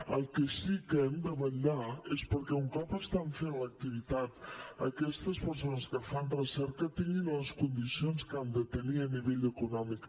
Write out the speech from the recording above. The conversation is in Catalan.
pel que sí que hem de vetllar és perquè un cop estan fent l’activitat aquestes persones que fan recerca tinguin les condicions que han de tenir a nivell econòmic